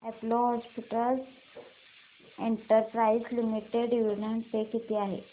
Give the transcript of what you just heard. Apollo hospitals enterprise limited dividend pay किती आहे